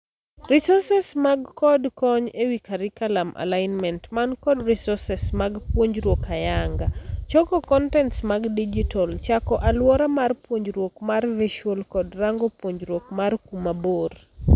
Resources man kod kony ewii carriculum alignment man kod resources mag puonjruok ayanga ,choko kontents mag digital, chako aluora mar puonjruok mar virtual kod rango puonjruok mar kuma bor.